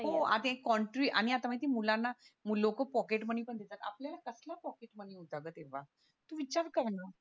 हो कॉन्ट्री आणि आत्ता माहितीये मुलांना लोकं पॉकेटमनी पण देतात आपल्याला कसला पॉकेटमनी होता ग तेव्हा तू विचार कर ना